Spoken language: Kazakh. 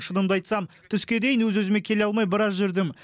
шынымды айтсам түске дейін өз өзіме келе алмай біраз жүрдім